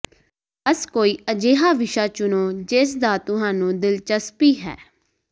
ਬਸ ਕੋਈ ਅਜਿਹਾ ਵਿਸ਼ਾ ਚੁਣੋ ਜਿਸ ਦਾ ਤੁਹਾਨੂੰ ਦਿਲਚਸਪੀ ਹੈ